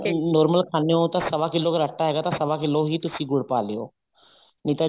ਕੇ normal ਖਾਣੇ ਹੋ ਤਾਂ ਸਵਾ ਕਿੱਲੋ ਆਟਾ ਹੈਗਾ ਤਾਂ ਸਵਾ ਕਿੱਲੋ ਹੀ ਤੁਸੀਂ ਗੁੜ ਪਾ ਲਿਉ ਨਹੀਂ ਤਾਂ